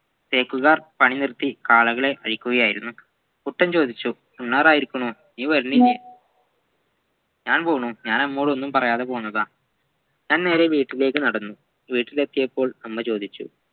തേക്കുകാർ പണി നിറുത്തി കാളകളെയായിക്കുകയായിരുന്നു കുട്ടൻ ചോദിച്ചു ഉണ്ണാറായിരിക്കുണു നീ വരുന്നില്ലേ ഞാൻ പോണു ഞാൻ അമ്മയോടൊന്നും പറയാതെ പോന്നതാ താൻ നേരെ വീട്ടിലേക്കു നടന്നു വീട്ടിലെത്തിയപ്പോൾ അമ്മ ചോദിച്ചു